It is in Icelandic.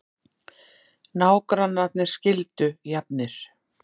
Nágrannarnir skildu jafnir